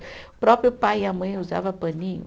O próprio pai e a mãe usava paninho.